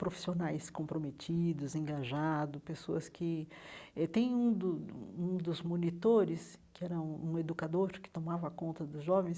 Profissionais comprometidos, engajados, pessoas que... Eh tem um do um dos monitores, que era um um educador que tomava conta dos jovens,